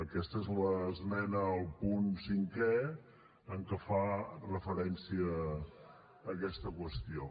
aquesta és l’esmena al punt cinquè en què es fa referència a aquesta qüestió